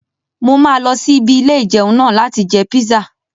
Mo máa lọ sí ibi ilé-ìjẹun náà láti jẹ píṣà